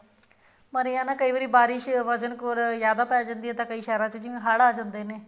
ਪਰ ਇਹ ਹੈ ਨਾ ਕਈ ਵਾਰੀ ਬਾਰਿਸ਼ ਵਜਨ੍ਖੋਰ ਜਿਆਦਾ ਪੈ ਜਾਂਦੀ ਹੈ ਤਾਂ ਕਈ ਸ਼ਹਿਰਾਂ ਵਿੱਚ ਜਿਵੇਂ ਹੜ ਆ ਜਾਂਦੇ ਨੇ